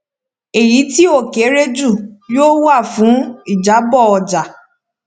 èyí tí ó kéré jù yóò wà fún ìjábò ọjà